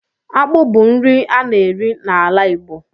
Akpụ bu nri a na-eri n'ala Igbo